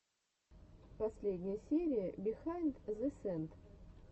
последняя серия бихайнд зэ сэнс